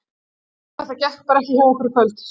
Þetta gekk bara ekki hjá okkur í kvöld.